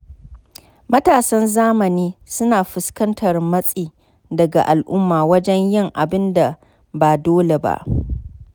Matasan zamani suna fuskantar matsi daga al’umma wajen yin abin da ba dole ba.